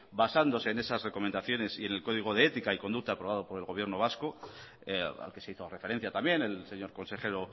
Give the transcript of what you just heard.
basándose en esas recomendaciones y en el código de ética y conducta aprobado por el gobierno vasco al que se hizo referencia también el señor consejero